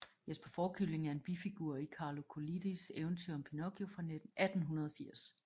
Jesper Fårekylling er en bifigur i Carlo Collodis eventyr om Pinocchio fra 1880